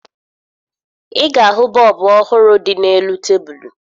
Ị ga-ahụ bọọbụ ọhụrụ dị n'elu tebulu